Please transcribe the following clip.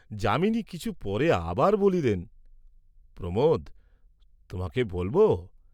যামিনী কিছু পরে আবার বলিলেন, প্রমোদ, তোমাকে বলব?